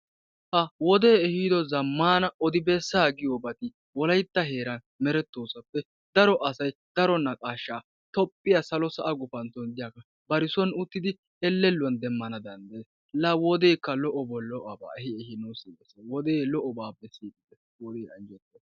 Ha wode ehido zammana odi besa giyobati wolaytta heeran meretosappe daro asay daro naqqasha toophiya salo sa'a gufantton de'iyaba bari son uttidi elelluwan demmanawu danddayes. La wodekka lo'obo lo'oba ehidi nusi immiis. Wode lo'obape